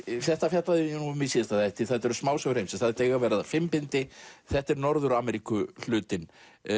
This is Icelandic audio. þetta fjallaði ég um í síðasta þætti þetta eru smásögur heimsins þetta eiga að verða fimm bindi þetta er Norður Ameríku hlutinn